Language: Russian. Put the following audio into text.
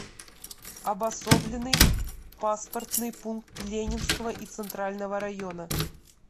обособленный паспортный пункт ленинского и центрального района